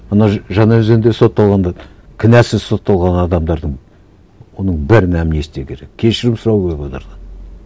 ана жаңаөзеңде сотталғандарды кінәсіз сотталған адамдардың оның бәріне амнистия керек кешірім сұрау керек олардан